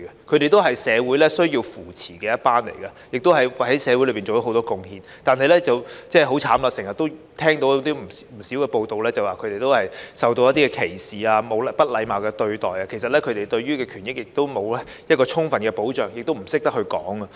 他們也是社會需要扶持的一群，亦為社會作出很多貢獻，但很可憐地，我們經常聽到不少報道指他們受到歧視和不禮貌對待，他們的權益沒有得到充分保障，他們亦不懂得申訴。